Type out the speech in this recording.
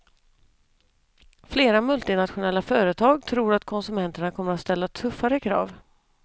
Flera multinationella företag tror att konsumenterna kommer att ställa tuffare krav.